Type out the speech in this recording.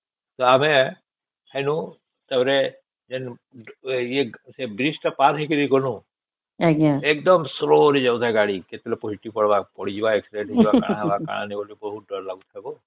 ତା ଆମେ ଵେନୁ ତା ପରେ ସେ bridge ତା ପାର ହେଇକି ଗଲୁ ଏକଦମ slow ରେ ଯାଉଥାଏ ଗାଡି କେତେବଳେ ପଲଟି ପଡିଲା accident ହେଇଯିବ କଣ ନାଇଁ କଣ ହବ ବହୁତ ଡର ଲାଗୁଥାଏ